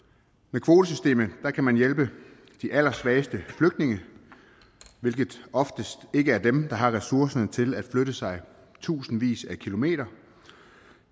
ved kvotesystemet kan man hjælpe de allersvageste flygtninge hvilket oftest ikke er dem der har ressourcerne til at flytte sig tusindvis af kilometer